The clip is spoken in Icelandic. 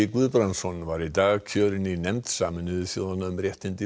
Guðbrandsson var í dag kjörinn í nefnd Sameinuðu þjóðanna um réttindi